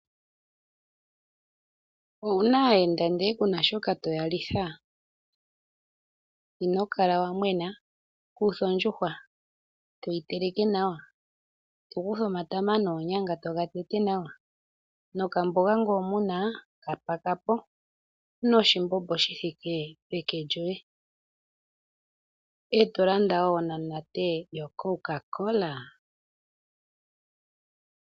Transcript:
Owu na aayenda ndele ku na shoka to ya litha? Ino kala wa mwena. Kutha ondjuhwa e toyi teleke nawa, to kutha omatama noonyanga toga tete nawa nokamboga ngele omu na ka paka po noshimbombo shi thike peke lyoye, e to landa wo onamunate yoCocaCola.